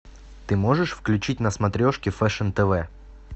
ты можешь включить на смотрешке фэшн тв